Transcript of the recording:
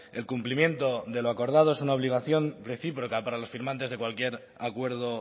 el cumplimiento de lo acordado es una obligación reciproca para los firmantes de cualquier acuerdo